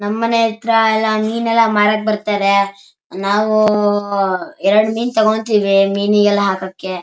ನಮ್ ಮನೆ ಹತ್ರ ಮೀನ್ ಎಲ್ಲ ಮಾರಾಕ್ ಬರ್ತಾರೆ ನಾವು ಎರಡ್ ಮೀನ್ ಠಾಕೋಠೀವಿ ಮೀನಿಗ್ ಹಾಕೋಕೆ --